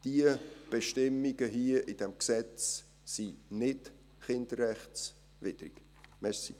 Die Bestimmungen hier in diesem Gesetz sind nicht kinderrechtswidrig.